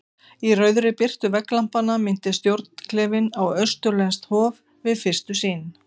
Í rauðri birtu vegglampanna minnti stjórnklefinn á austurlenskt hof- við fyrstu sýn.